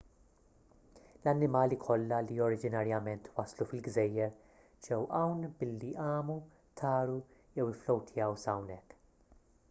l-annimali kollha li oriġinarjament waslu fil-gżejjer ġew hawn billi għamu taru jew ifflowtjaw s'hawnhekk